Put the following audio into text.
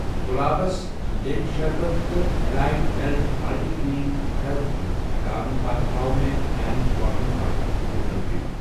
گُلابس لیٚنٛبۍ شربت تہٕ مٮ۪لایٹ millet multigrain health drink ہٹاونتہٕ پتتہٕ ہاو مےٚ میانہِ شاپنگ کارٹٕچ ٹوٹل بِل۔